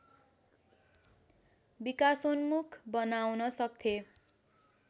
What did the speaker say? विकासोन्मुख बनाउन सक्थेँ